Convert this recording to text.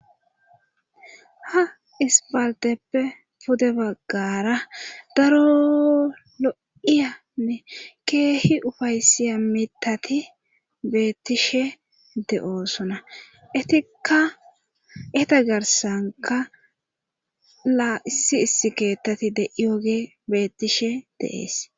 ha ispalteppe pude baggara daro lo7iyanne keehi ufaysiya mitati beettishe de7oosona itika eta garsanka laa issi issi keettati deyyoge bettishe deees